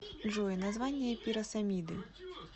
джой название пиросомиды